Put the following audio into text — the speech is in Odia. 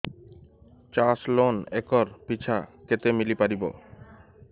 ଚାଷ ଲୋନ୍ ଏକର୍ ପିଛା କେତେ ମିଳି ପାରିବ